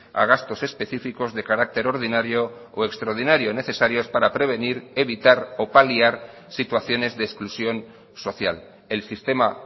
a gastos específicos de carácter ordinario o extraordinario necesarios para prevenir evitar o paliar situaciones de exclusión social el sistema